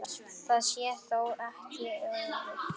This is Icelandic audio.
Það sé þó ekki öruggt.